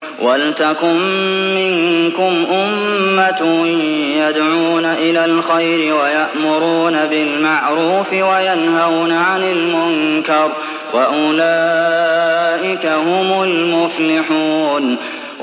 وَلْتَكُن مِّنكُمْ أُمَّةٌ يَدْعُونَ إِلَى الْخَيْرِ وَيَأْمُرُونَ بِالْمَعْرُوفِ وَيَنْهَوْنَ عَنِ الْمُنكَرِ ۚ وَأُولَٰئِكَ هُمُ الْمُفْلِحُونَ